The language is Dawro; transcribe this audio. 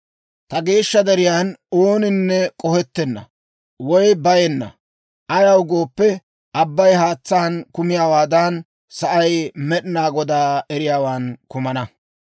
Ta geeshsha deriyaan ooninne k'ohettenna, woy bayenna; ayaw gooppe, abbay haatsaan kumiyaawaadan, sa'ay Med'inaa Godaa eriyaawan kumana.